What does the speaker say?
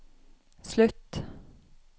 slutt